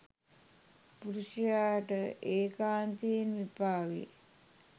පුරුෂයාට ඒකාන්තයෙන්ම එපා වේ.